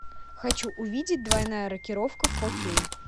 хочу увидеть двойная рокировка фор кей